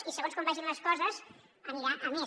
i segons com vagin les coses anirà a més